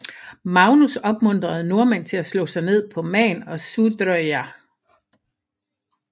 Magnus opmuntrede nordmænd til at slå sig ned på Man og Sudreyar